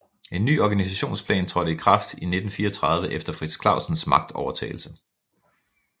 En ny organisationsplan trådte i kraft i 1934 efter Frits Clausens magtovertagelse